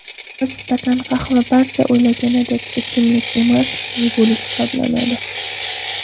Bir stakan qahva barcha o‘ylaganidek, ichimlik emas, yegulik hisoblanadi.